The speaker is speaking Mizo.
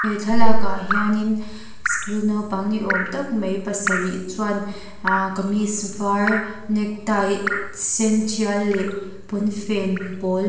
thlalak ah hianin school naupang ni awm tak mai pasarih chuan aaa kameez var neck tie sen tial leh pawnfen pawl--